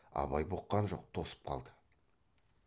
абай бұққан жоқ тосып қалды